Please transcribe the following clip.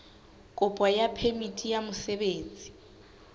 kopo ya phemiti ya mosebetsi